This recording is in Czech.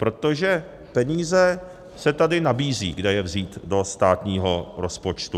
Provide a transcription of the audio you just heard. Protože peníze se tady nabízejí, kde je vzít do státního rozpočtu.